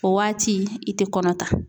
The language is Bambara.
O waati i tɛ kɔnɔ ta.